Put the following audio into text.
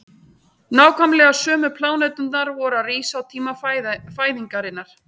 nákvæmlega sömu pláneturnar voru að rísa á tíma fæðingarinnar